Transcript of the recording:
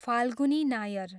Falguni Nair